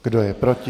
Kdo je proti?